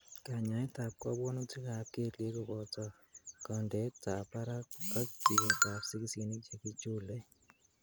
Kanyaetab kobwonutikab keliek koboto kondetab barak ok tiyetab sikisinik chekichule.